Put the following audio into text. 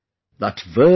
That verse is